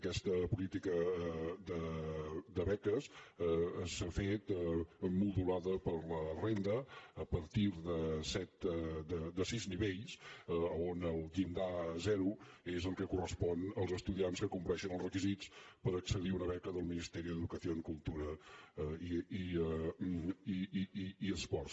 aquesta política de beques s’ha fet modulada per la renda a partir de sis nivells on el llindar zero és el que correspon als estudiants que compleixen els requisits per accedir a una beca del ministeri d’educació cultura i esports